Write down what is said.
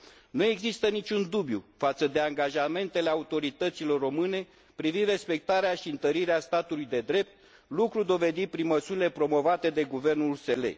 Nu există niciun dubiu față de angajamentele autorităților române privind respectarea și întărirea statului de drept, lucru dovedit prin măsurile promovate de guvernul USL.